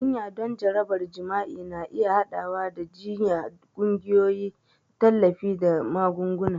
Jinya don jarabar jima'i na iya haɗawa da jiyya, ƙungiyoyin tallafi, da magunguna.